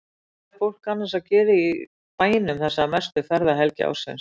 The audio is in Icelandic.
Hvað er fólk annars að gera í bænum þessa mestu ferðahelgi ársins?